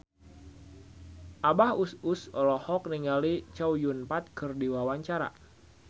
Abah Us Us olohok ningali Chow Yun Fat keur diwawancara